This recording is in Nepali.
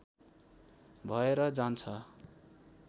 भएर जान्छ